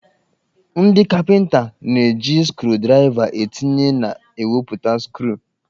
Ndị kapịnta na-eji skrudraịva etinye na ewepụta skru